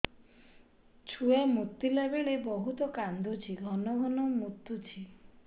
ଛୁଆ ମୁତିଲା ବେଳେ ବହୁତ କାନ୍ଦୁଛି ଘନ ଘନ ମୁତୁଛି